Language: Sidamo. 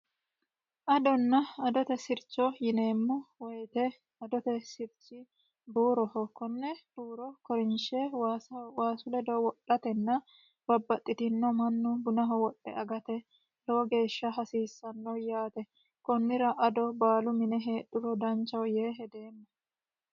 adonna adote sircho yineemmo woyite adote sirchi buuroho konne buuro korinshe waasu ledo wodhatenna babbaxxitino mannu bunaho wodhe agate lowo geeshsha hasiissanno yaate kunnira ado baalu mine heedhuro danchaho yee hedeemmo